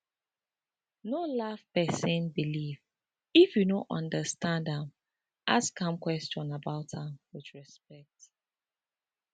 no laff pesin believe if you no understand am ask am question about am with respect